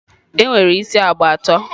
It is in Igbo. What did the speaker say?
e nwere isi agba atọ.